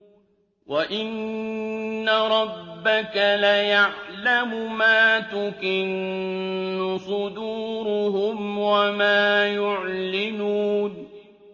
وَإِنَّ رَبَّكَ لَيَعْلَمُ مَا تُكِنُّ صُدُورُهُمْ وَمَا يُعْلِنُونَ